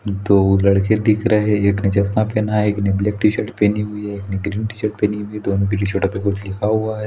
दो लड़के दिख रहे हैं एक ने चश्मा पेहना है एक ने ब्लैक टी-शर्ट पहनी हुई है एक ने ग्रीन टी-शर्ट पहनी हुई है दोनों के टी-शर्ट पे कुछ लिखा हुआ है--